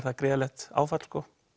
gríðarlegt áfall